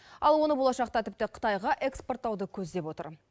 ал оны болашақта тіпті қытайға экспорттауды көздеп отыр